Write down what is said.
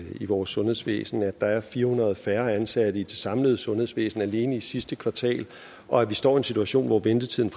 i vores sundhedsvæsen at der er blevet fire hundrede færre ansatte i det samlede sundhedsvæsen alene i sidste kvartal og at vi står i en situation hvor ventetiden